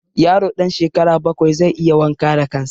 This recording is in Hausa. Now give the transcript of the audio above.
Yaro ɗan shekara bakwai zai iya wanka da kan sa